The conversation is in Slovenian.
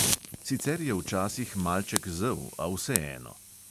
Sicer je včasih malček zel, a vseeno.